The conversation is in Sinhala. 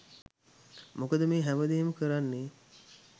මොකද මේ හැම දේම කරන්නේ